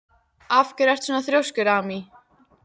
Af hverju ertu svona þrjóskur, Amý?